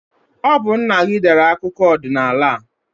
Ọ bu nna gị dere akụkọ ọdinaala a